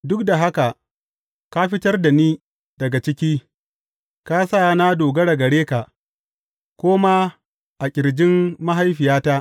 Duk da haka ka fitar da ni daga ciki; ka sa na dogara gare ka, ko ma a ƙirjin mahaifiyata.